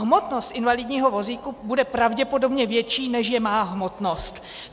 Hmotnost invalidního vozíku bude pravděpodobně větší, než je má hmotnost.